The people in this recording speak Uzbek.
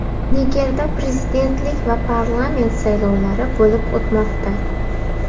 Nigerda prezidentlik va parlament saylovlari bo‘lib o‘tmoqda.